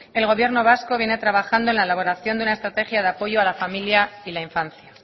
el gobierno vasco viene trabajando en la elaboración de una estrategia de apoyo a la familia y la infancia